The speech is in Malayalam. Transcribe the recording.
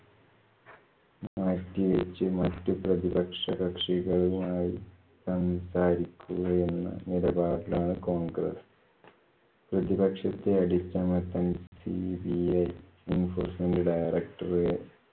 മാറ്റിവച്ചു മറ്റു പ്രതിപക്ഷ കക്ഷികളുമായി സംസാരിക്കുകയെന്ന നിലപാടിലാണ് കോൺഗ്രസ്സ്. പ്രതിപക്ഷത്തെ അടിച്ചമർത്താന്‍ cbi, enforcement director